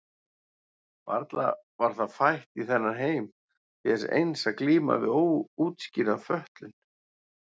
Varla var það fætt í þennan heim til þess eins að glíma við óútskýrða fötlun?